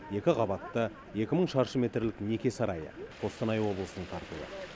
екі қабатты екі мың шаршы метрлік неке сарайы қостанай облысының тартуы